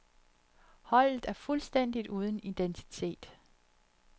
Holdet er fuldstændigt uden identitet.